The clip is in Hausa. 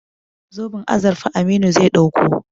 Zoben azurfa Aminu zai ɗauko.